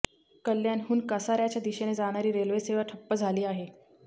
कल्याणहून कसाऱ्याच्या दिशेने जाणारी रेल्वेसेवा ठप्प झाली आहे